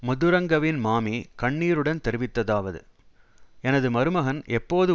மதுரங்கவின் மாமி கண்ணீருடன் தெரிவித்ததாவது எனது மருமகன் எப்போது